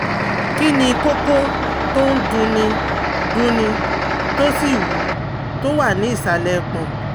Kí ni kókó tó ń dunni dunni tó sì wú tó wà ní ìsàlẹ̀ ẹpọ̀n?